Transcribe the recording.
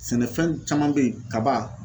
Sɛnɛfɛn caman bɛ yen kaba